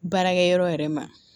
Baarakɛ yɔrɔ yɛrɛ ma